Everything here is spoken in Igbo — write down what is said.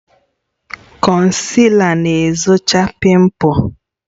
Konsila na-ezochi pimples